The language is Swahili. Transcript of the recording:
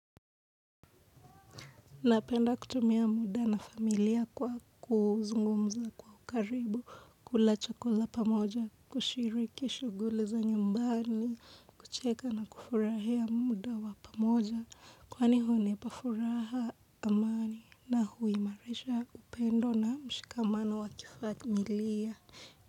Napenda kutumia muda na familia kwa kuzungumza kwa ukaribu, kula chakula pamoja, kushiriki shughuli za nyumbani, kucheka na kufurahia muda wa pamoja, kwani hunipa furaha, amani na huimarisha upendo na mshikamano wa kifamilia.